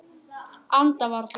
Anda varla.